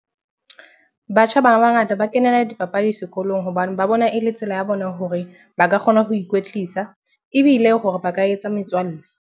Batjha ba bangata ba kenela dipapadi sekolong hobane ba bona e le tsela ya bona hore ba ka kgona ho ikwetlisa, ebile hore ba ka etsa metswalle.